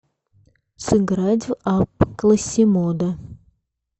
сыграть в апп классимодо